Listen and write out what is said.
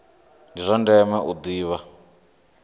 ndi zwa ndeme u ḓivha